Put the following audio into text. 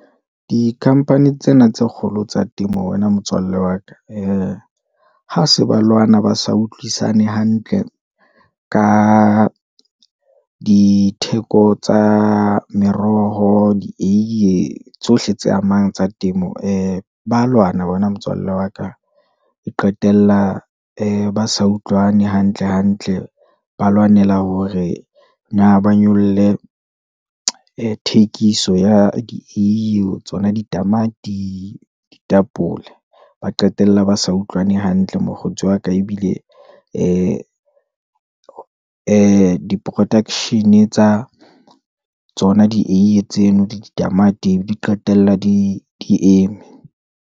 Di-company tsena tse kgolo tsa temo wena motswalle wa ka, ee, ha se ba lwana ba sa utlwisisane hantle, ka ditheko tsa meroho, dieiye, tsohle tse amang tsa temo, ee ba lwana wena motswalle wa ka, e qetella ee na sa utlwane hantle, hantle, ba lwanela hore na ba nyolle thekiso ya dieiye, tsona ditamati, ditapole, ba qetella ba sa utlwana hantle mokgotsi wa ka, ebile ee production-e tsa tsona dieiye tseno, le ditamati di qetella di eme.